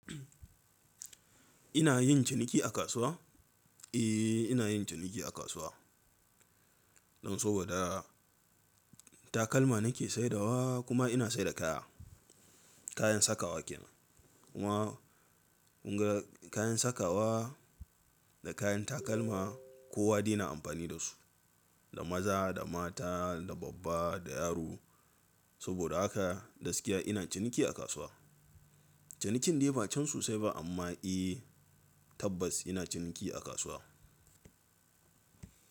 Ina yin ciniki a kasuwa? Eh, ina yin ciniki a kasuwa. Don saboda takalma nake saidawa kuma ina saida kaya, kayan sakawa kenan. Kuma kun ga kayan sakawa da kayan takalma kowa dai na amfani da su, da maza, da mata, da babba, da yaro. Saboda haka gaskiya ina ciniki a kasuwa. Cinikin dai ba can susai ba amma eh tabbas ina ciniki a kasuwa.